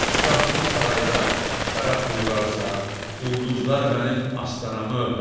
Şah bu sarayda şərab buyurarsa, ulduzlar mənim astanamı öpər.